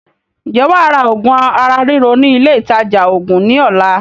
Ǹjẹ́ wàá ra oògùn ara ríro ní ilé ìtaja oògùn ní ọ̀la?